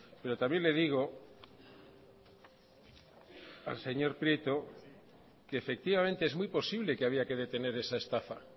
pero también le digo al señor prieto que efectivamente es muy posible que había que detener esa estafa